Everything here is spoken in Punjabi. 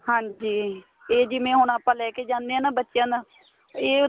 ਹਾਂਜੀ ਇਹ ਜਿਵੇਂ ਹੁਣ ਆਪਾਂ ਲੈਕੇ ਜਾਨੇ ਆ ਨਾ ਬੱਚਿਆਂ ਦਾ ਇਹ ਉੱਥੇ